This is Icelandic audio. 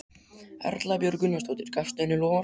Erla Björg Gunnarsdóttir: Gafstu henni loforð?